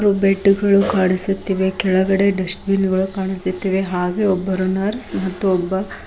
Bed ಗಳು ಕಾಣಿಸುತ್ತಿವೆ ಕೆಳಗಡೆ ಡಸ್ಟ್ ಬಿನ್ ಗಳು ಕಾಣಿಸುತ್ತಿವೆ ಹಾಗೆ ಒಬ್ಬರು ನರ್ಸ್ ಮತ್ತು ಒಬ್ಬ.